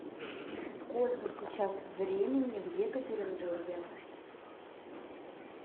сколько сейчас времени в екатеринбурге